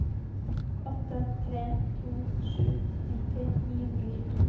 åtte tre to sju nitti ni hundre og tjueto